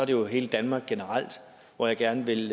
jo hele danmark generelt hvor jeg gerne vil